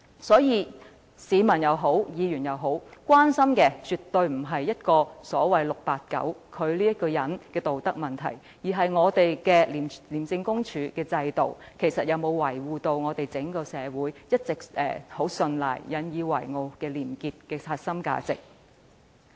所以，無論是市民或議員，所關心的絕對不是 "689" 此人的道德問題，而是本港的廉政制度，能否維護廉潔此一整個社會一直十分信賴並引以自豪的核心價值。